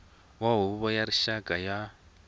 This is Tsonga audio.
wa huvo ya rixaka ya